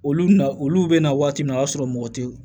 Olu na olu bɛ na waati min na o y'a sɔrɔ mɔgɔ tɛ ye